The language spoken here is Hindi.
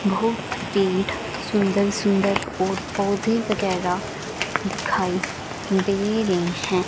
बहुत पेड सुंदर सुंदर और पौधे वगैरा दिखाई दे रे हैं।